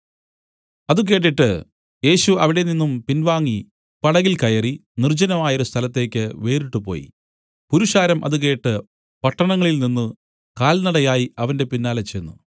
അത് കേട്ടിട്ട് യേശു അവിടെനിന്നും പിൻവാങ്ങി പടകിൽ കയറി നിർജ്ജനമായൊരു സ്ഥലത്തേയ്ക്ക് വേറിട്ടുപോയി പുരുഷാരം അത് കേട്ട് പട്ടണങ്ങളിൽനിന്നു കാൽനടയായി അവന്റെ പിന്നാലെ ചെന്ന്